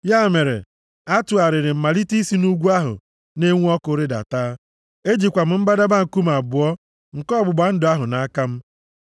Ya mere, atụgharịrị m malite isi nʼugwu ahụ na-enwu ọkụ rịdata, ejikwa m mbadamba nkume abụọ nke ọgbụgba ndụ ahụ nʼaka m.